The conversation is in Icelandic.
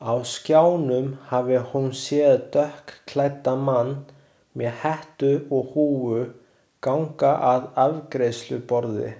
Á skjánum hafi hún séð dökkklæddan mann, með hettu eða húfu, ganga að afgreiðsluborði.